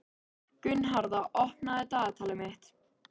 Gunnharða, opnaðu dagatalið mitt.